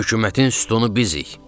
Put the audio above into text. Hökumətin sütunu bizik.